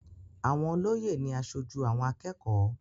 Àwọn olóyè ni aṣojú àwọn akẹ́kọ̀ọ́.